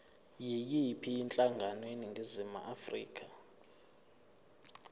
yiyiphi inhlangano eningizimu